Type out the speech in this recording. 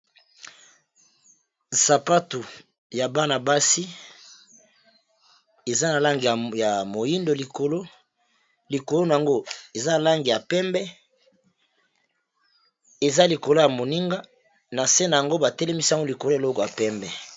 Sapatu ya bana-basi eza na langi ya moyindo likolo, likolo nango eza na langi ya pembe eza likolo ya moninga na se nango ba telemisi yango likolo eloko ya pembe.